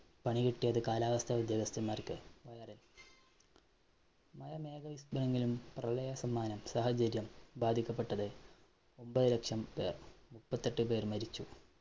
പണികിട്ടിയത് കാലാവസ്ഥ ഉദ്യോഗസ്ഥന്മാര്‍ക്ക്. മഴ നെങ്കിലും പ്രളയ സമ്മാനം, സാഹചര്യം ബാധിക്കപ്പെട്ടത് ഒന്‍പതു ലക്ഷം പേര്‍. മുപ്പത്തെട്ടു പേര്‍ മരിച്ചു.